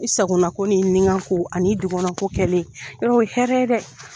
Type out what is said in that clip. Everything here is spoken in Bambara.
I sagonako ni nikanko an' i dunkɔnnako kɛlen, yarɔ o ye hɛrɛ ye dɛ!